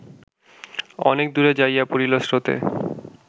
অনেক দুরে যাইয়া পড়িল স্রোতে